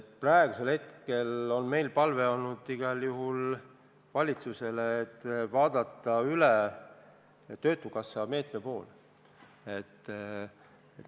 Praegusel hetkel on meie palve valitsusele olnud igal juhul see, et vaadataks üle töötukassa meede.